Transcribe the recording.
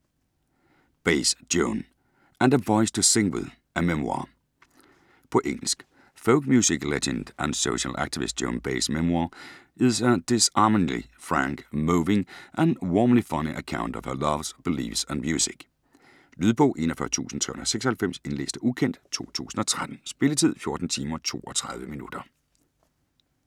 Baez, Joan: And a voice to sing with : a memoir På engelsk. Folk music legend and social activist Joan Baez's memoir is a disarmingly frank, moving, and warmly funny account of her loves, beliefs, and music. Lydbog 41396 Indlæst af ukendt, 2013. Spilletid: 14 timer, 32 minutter.